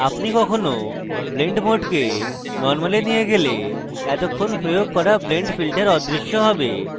আপনি কখনো blend mode কে normal এ নিয়ে গেলে এতক্ষণ প্রয়োগ করা blend filters অদৃশ্য হবে